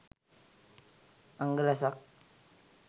අංග රැසක්